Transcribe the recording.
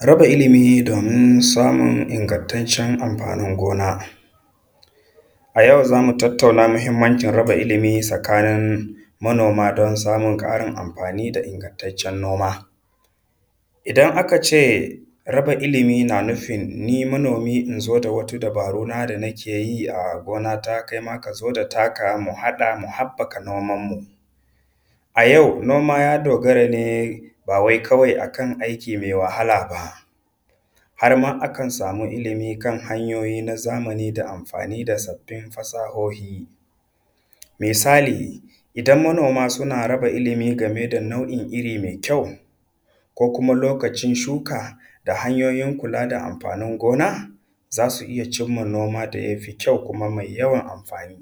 Raba ilimi domin samun ingantaccen amfanin gona. A yau zamu tattauna muhimmancin raba ilimi tsakanin manoma don samun ƙarin amfani da ingantaccen noma. Idan aka ce raba ilimi na nufin ni manomi in zo da wata dabaru na da na ke yi a gonata, kai ma ka zo da taka, mu haɗa, mu haɓɓaka noman mu. A yau noma ya dogara ne ba wai kawai akan aiki mai wahala ba, harma a kan samu ilimi kan hanyoyi na zamani da amfani da sabbi fasahohi. Misali idan manoma suna raba ilimi game da nau'in iri mai kyau, ko kuma lokacin shuka, da hanyoyin kula da amfanin gona, za su iya cimma noma da ya fi kyau kuma mai yawan amfani.